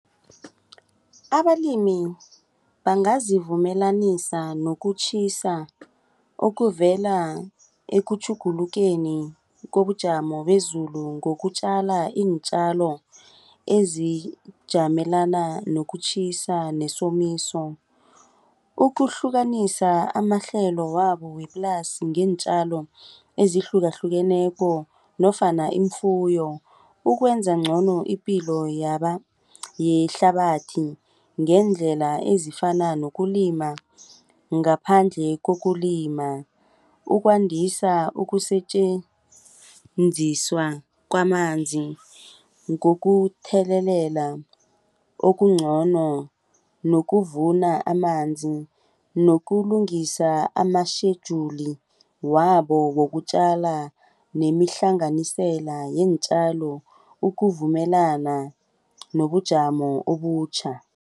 Abalimi bangazivumelanisa nokutjhisa okuvela ekutjhugulukeni kobujamo bezulu ngokutjala iintjalo ezijamelana nokutjhisa nesomiso. Ukuhlukanisa amahlelo wabo weplasi ngeentjalo ezihlukahlukeneko nofana ifuyo ukwenza ngcono ipilo yehlabathi ngeendlela ezifana nokulima ngaphandle kokulima. Ukwandisa ukusetjenziswa kwamanzi ngokuthelelela okungcono nokuvuna amanzi nokulungisa ama-schedule wabo wokutjala nemihlanganisela yeentjalo ukuvumelana nobujamo obutjha.